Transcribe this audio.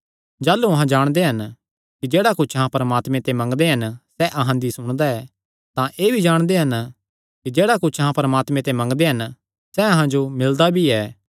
जाह़लू अहां जाणदे हन कि जेह्ड़ा कुच्छ अहां परमात्मे ते मंगदे हन सैह़ अहां दी सुणदा ऐ तां एह़ भी जाणदे हन कि जेह्ड़ा कुच्छ अहां परमात्मे ते मंगदे हन सैह़ अहां जो मिलदा भी ऐ